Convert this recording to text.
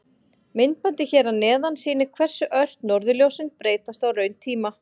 Myndbandið hér að neðan sýnir hversu ört norðurljósin breytast á rauntíma.